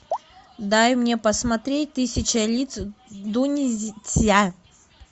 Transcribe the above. дай мне посмотреть тысяча лиц дуньцзя